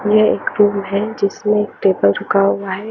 ये एक फिल्म हे जिसमे रुका हैं।